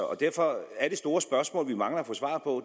og derfor er det store spørgsmål vi mangler at få svar på